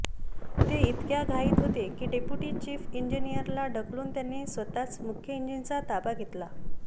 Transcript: ते ईतक्या घाईत होते की डेट्युपी चीफ ईजीनींअरला ढकलून त्यांनी स्वःच मूख्य ईजीनचा ताबा घेतला